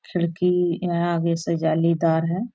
खिड़की यहाँ आगे से जालीदार है।